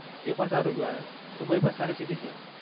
એપણ સારું કેવાય દુબઈ પણ સારી city છે